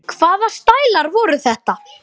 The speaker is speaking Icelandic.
Hvaða stælar voru þetta?